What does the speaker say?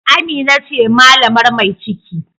Amina ce malamar mai ciki